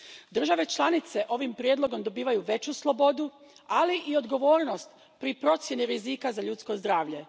Države članice ovim prijedlogom dobivaju veću slobodu, ali i odgovornost pri procjeni rizika za ljudsko zdravlje.